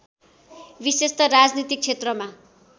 विशेषत राजनीतिक क्षेत्रमा